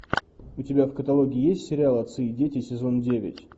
у тебя в каталоге есть сериал отцы и дети сезон девять